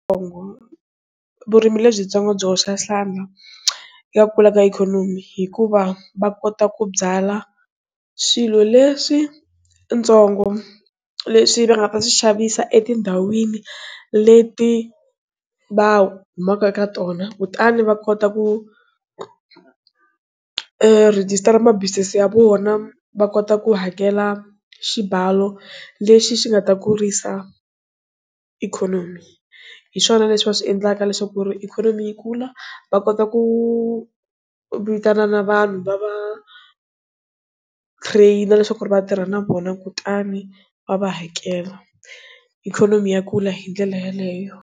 Vurimi lebyitsongo byi hoxa xandla ya kula ka ikhonomi hikuva va kota ku byala swilo leswi ntsongo leswi va nga ta swi xavisa etindhawini leti va humaka eka tona kutani va kota ku rejistara mabusiness ya vona va kota ku hakela xibalo lexi xi nga ta kurisa ikhonomi hiswona leswi va swi endlaka leswaku ikhonomi yi kula va kota ku vitana na vanhu va va trainer na leswaku vatirha na vona kutani va va hakela ikhonomi ya kula hi ndlela yeleyo.